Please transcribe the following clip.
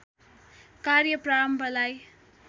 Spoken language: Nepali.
कार्य प्रारम्भलाई